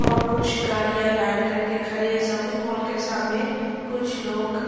और कुछ गारियाँ लाइन करके खरे हैं शॉपिंग मॉल के सामने। कुछ लोग --